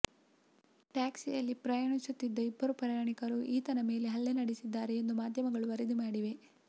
ಟ್ಯಾಕ್ಸಿಯಲ್ಲಿ ಪ್ರಯಾಣಿಸುತ್ತಿದ್ದ ಇಬ್ಬರು ಪ್ರಯಾಣಿಕರು ಈತನ ಮೇಲೆ ಹಲ್ಲೆ ನಡೆಸಿದ್ದಾರೆ ಎಂದು ಮಾಧ್ಯಮಗಳು ವರದಿ ಮಾಡಿವೆ